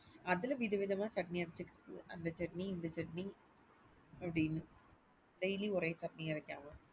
அதுல வித விதமா சட்னி அரச்சுவைக்க அந்த சட்னி இந்த சட்னி அப்படின்னு daily ஒரே சட்னி வைக்காம